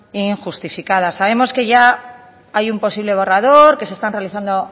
injustificada sabemos que ya hay un posible borrador que se están realizando